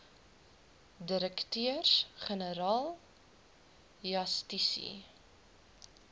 direkteurs generaal justisie